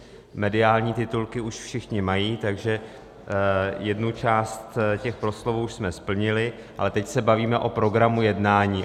Mediální titulky už všichni mají, takže jednu část těch proslovů už jsme splnili, ale teď se bavíme o programu jednání.